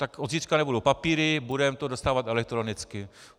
Tak od zítřka nebudou papíry, budeme to dostávat elektronicky.